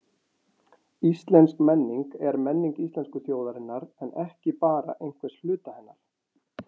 Íslensk menning er menning íslensku þjóðarinnar en ekki bara einhvers hluta hennar.